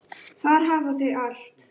Þar hafa þau allt.